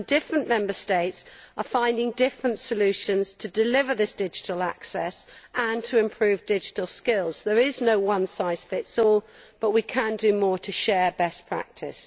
Different Member States are finding different solutions to deliver this digital access and to improve digital skills. There is no one size fits all', but we can do more to share best practices.